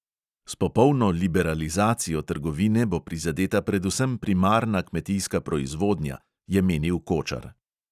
S popolno liberalizacijo trgovine bo prizadeta predvsem primarna kmetijska proizvodnja, je menil kočar.